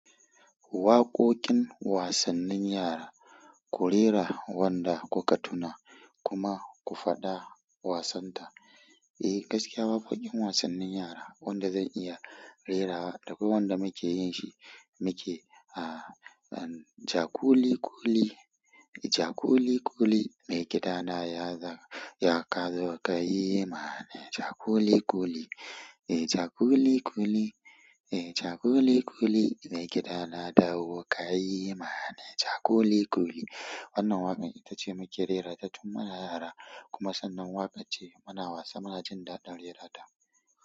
Waƙoƙin wasannin yara, ku rera wanda kuka tuna, kuma ku faɗa wasan ta eh, gaskiya waƙoƙin wasannin yara wanda zan iya rera da kwai wanda muke yin shi muke, ah, ah, jakuli ƙuli, jakuli ƙuli, mai gidana ya za-- ya kazo ka yi ma ni jakuli ƙuli. Eh, jakuli ƙuli, eh, jakuli ƙuli, mai gidana dawo ka yi ma ni jakuli ƙuli. Wannan waƙan itace muke rairata tun muna yara, kuma sannan waƙar ce muna wasa munajin daɗin rerata.